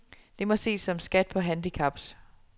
Det må ses som skat på handicaps.